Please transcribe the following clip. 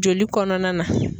Joli kɔnɔna na.